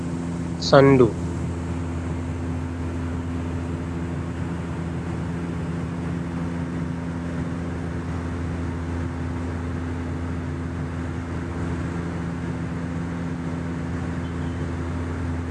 Sonndu ndu ɗo ronngini haa leddi.